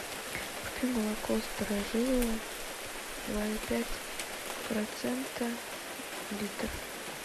купи молоко старожилово два и пять процента литр